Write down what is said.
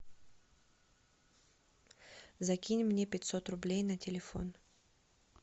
закинь мне пятьсот рублей на телефон